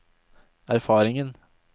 erfaringen